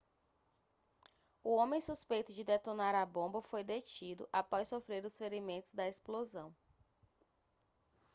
o homem suspeito de detonar a bomba foi detido após sofrer os ferimentos da explosão